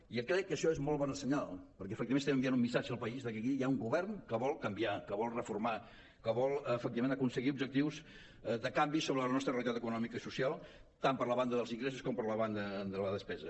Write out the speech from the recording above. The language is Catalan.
i crec que això és molt bon senyal perquè efectivament estem enviant un missatge al país de que aquí hi ha un govern que vol canviar que vol reformar que vol efectivament aconseguir objectius de canvi sobre la nostra realitat econòmica i social tant per la banda dels ingressos com per la banda de la despesa